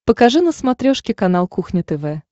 покажи на смотрешке канал кухня тв